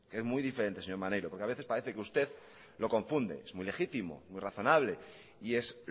es muy diferente señor maneiro porque a veces parece que usted lo confunde es muy legítimo muy razonable y es